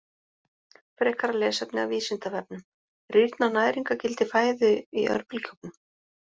Frekara lesefni af Vísindavefnum:: Rýrnar næringargildi fæðu í örbylgjuofnum?